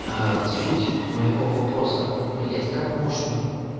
суть моего вопроса блядь как можно